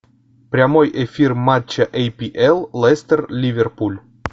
прямой эфир матча апл лестер ливерпуль